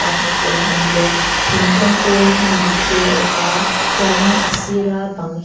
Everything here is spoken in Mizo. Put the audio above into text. a hmuh tur an awm bawk thingkung te hnim buk te a awma chuanin a sira bang--